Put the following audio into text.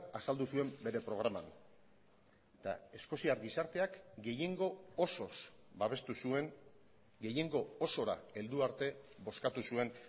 azaldu zuen bere programan eta eskoziar gizarteak gehiengo osoz babestu zuen gehiengo osora heldu arte bozkatu zuen